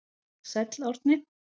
Sæll Árni.